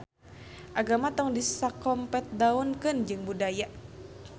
Agama tong disakompetdaunkeun jeung budaya